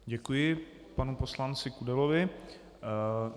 Děkuji panu poslanci Kudelovi.